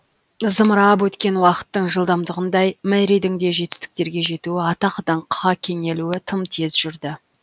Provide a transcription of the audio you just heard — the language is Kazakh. зымырап өткен уақыттың жылдамдығындай мэридің де жетістіктерге жетуі атақ даңққа кеңелуі тым тез жүрді